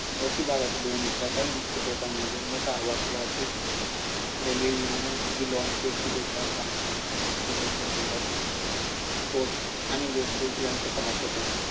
काही मुख स्रोतांमध्ये मोठा आवाज वाहतूक, रेल्वे, विमाने, बांधकाम, generator, boat आणि यांचा समावेश होतो.